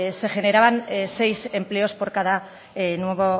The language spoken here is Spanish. se generaban seis empleos por cada nuevo